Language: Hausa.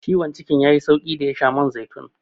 Ciwon cikin ya yi sauƙi da ya sha man zaitun.